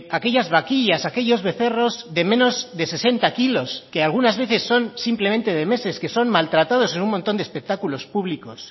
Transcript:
aquellas vaquillas aquellos becerros de menos de sesenta kilos que algunas veces son simplemente de meses que son maltratados en un montón de espectáculos públicos